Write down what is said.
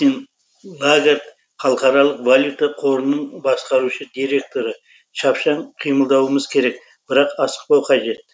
кристин лагард халықаралық валюта қорының басқарушы директоры шапшаң қимылдауымыз керек бірақ асықпау қажет